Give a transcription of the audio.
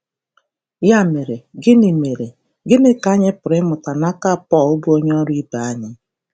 Ya mere, gịnị mere, gịnị ka anyị pụrụ ịmụta n’aka Pọl, bụ onye ọrụ ibe anyị?